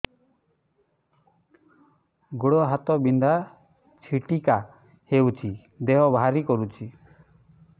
ଗୁଡ଼ ହାତ ବିନ୍ଧା ଛିଟିକା ହଉଚି ଦେହ ଭାରି କରୁଚି